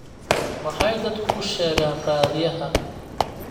Maxay dadku u sheegaan raadiyaha?